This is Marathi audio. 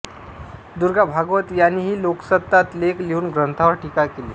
दुर्गा भागवत यांनीही लोकसत्तात लेख लिहून ग्रंथावर टीका केली